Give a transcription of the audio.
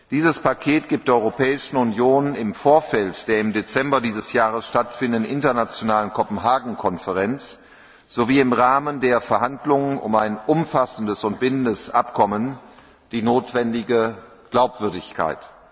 Dieses Paket gibt der Europäischen Union im Vorfeld der im Dezember dieses Jahres stattfindenden internationalen Konferenz von Kopenhagen sowie im Rahmen der Verhandlungen über ein umfassendes und bindendes Abkommen die notwendige Glaubwürdigkeit.